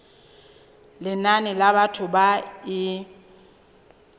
lenane la batho ba e